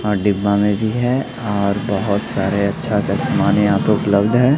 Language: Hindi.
और डिब्बा में भी है और बहोत सारे अच्छा अच्छा सामान यहा पे उपलब्ध है।